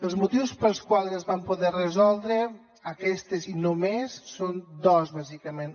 els motius pels quals es van poder resoldre aquestes només són dos bàsicament